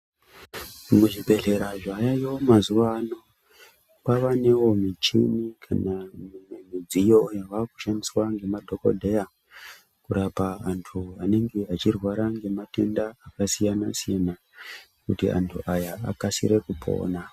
Mu zvibhehlera zvavayo mazuva ano kwava newo muchini kana mumwe midziyo yava kushandiswa ne madhokodheya kurapa antu anenge echi rwara nema tenda aka siyana siyana kuti antu aya akasire kupona.